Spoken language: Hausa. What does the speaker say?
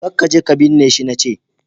ka kaje ka binne shi na ce!